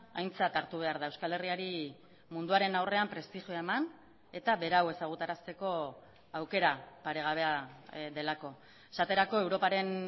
aintzat hartu behar da euskal herriari munduaren aurrean prestigioa eman eta berau ezagutarazteko aukera paregabea delako esaterako europaren